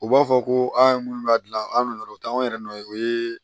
U b'a fɔ ko an ye minnu b'a dilan an nɔ na o t'anw yɛrɛ nɔ ye o ye